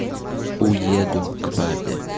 уеду к папе